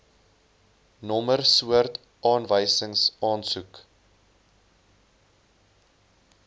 nommer soort aanwysingsaansoek